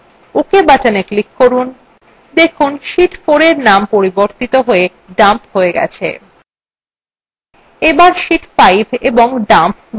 ok button click করুন দেখুন sheet 4 ট্যাবের dump পরিবর্তিত হয়ে dump হয়ে গেছে